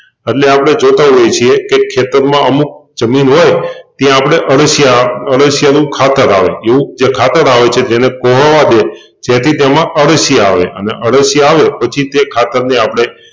એટલે આપણે જોતાં હોઈએ છીએ કે ખેતરમાં અમુક જમીન હોય ત્યાં આપણે અળસિયા અળસિયાનું ખાતર આવે જેવુ જે ખાતર આવે છે જેને કોહવાવા દે જેથી તેમાં અળસિયાં આવે પછી તે ખાતર ને આપણે